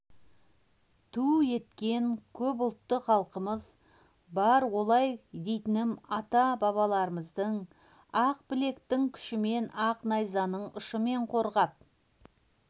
ту еткен көпұлтты халқымыз бар олай дейтінім ата-бабаларымыздың ақ білектің күшімен ақ найзаның ұшымен қорғап